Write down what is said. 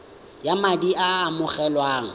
ya madi a a amogelwang